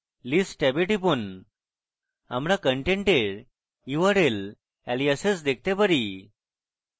list ট্যাবে টিপুন আমরা content url aliases দেখতে পারি